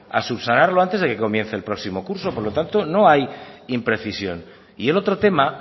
a subsanarlo antes de que comience el próximo curso por lo tanto no hay imprecisión y el otro tema